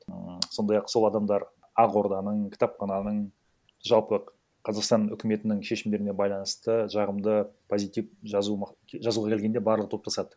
ііі сондай ақ сол адамдар ақорданың кітапхананың жалпы қазақстан үкіметінің шешімдеріне байланысты жағымды позитив жазу жазуға келгенде барлығы топтасады